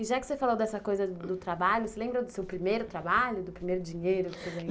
E já que você falou dessa coisa do trabalho, você lembra do seu primeiro trabalho, do primeiro dinheiro?